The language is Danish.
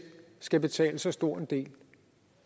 skal betale så stor en del